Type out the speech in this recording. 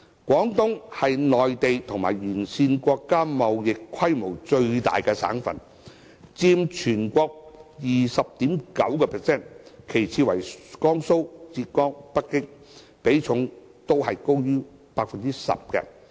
廣東是內地和沿線國家貿易規模最大的省份，佔全國 20.9%， 其次為江蘇、浙江、北京，比重均高於 10%。